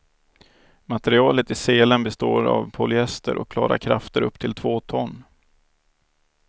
Materialet i selen består av polyester och klarar krafter upp till två ton.